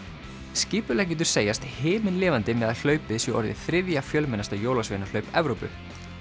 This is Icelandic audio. skipuleggjendur segjast himinlifandi með að hlaupið sé orðið þriðja fjölmennasta jólasveinahlaup Evrópu